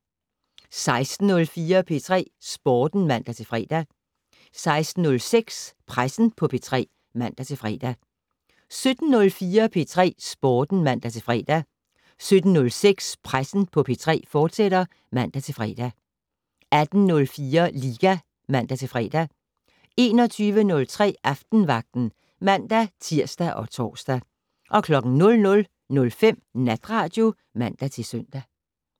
16:04: P3 Sporten (man-fre) 16:06: Pressen på P3 (man-fre) 17:04: P3 Sporten (man-fre) 17:06: Pressen på P3, fortsat (man-fre) 18:04: Liga (man-fre) 21:03: Aftenvagten (man-tir og tor) 00:05: Natradio (man-søn)